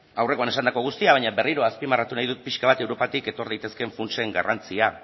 aurrekoan esandako guztia baina berriro azpimarratu nahi dut pixka bat europatik etor daitezkeen funtsen garrantzia